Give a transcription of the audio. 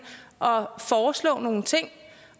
og foreslå nogle ting